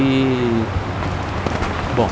E... Bom.